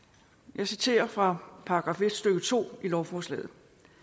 jeg citerer fra § en stykke to i lovforslaget